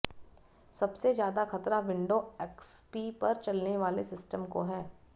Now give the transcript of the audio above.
सबसे ज्यादा खतरा विंडो एक्सपी पर चलने वाले सिस्टम को है